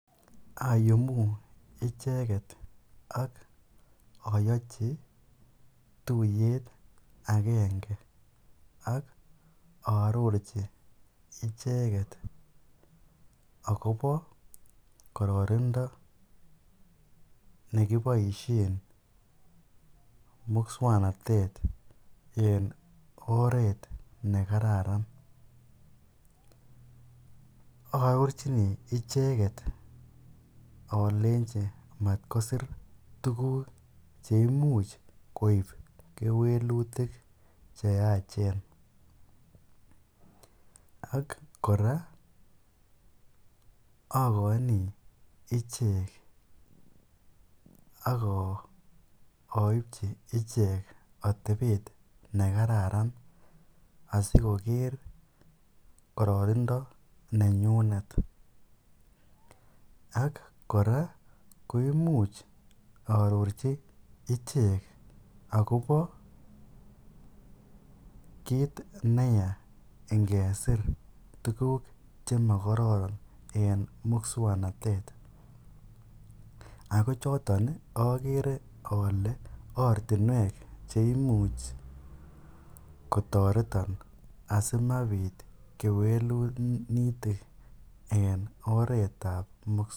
Ayumu icheget ak ayochi tuyet agenge ak aarorchi icheget agobo kororindo nekiboisiet muswoknatet en oret ne kararan. Aarorchini icheget alenji mat kosir tuguk che imuch koip kewelutik che yachen ak kora agoini ichek ak aipchi ichek atebet nekararan asigoker kororindo nenyunet ak kora koimuch arorchi ichek agobo kit neya ingesir tuguk chemokororon en muswoknatet. Ago choton agere ale ortinuek che imuch kotoreton asimapit kelutik en oretabmu.